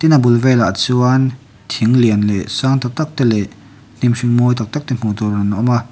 tin a bul velah chuan thing lian leh sang tak tak te leh hnim hring mawi tak tak te hmuh tur an awm a--